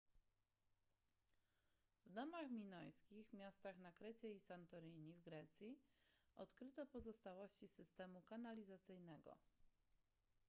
w domach w minojskich miastach na krecie i santorini w grecji odkryto pozostałości systemu kanalizacyjnego